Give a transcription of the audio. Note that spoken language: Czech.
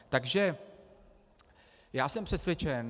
Takže já jsem přesvědčen...